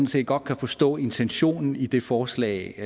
set godt kan forstå intentionen i det forslag